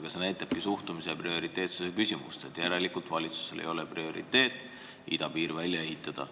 Asi on suhtumises ja prioriteetide seadmises, järelikult valitsuse prioriteet ei ole idapiir välja ehitada.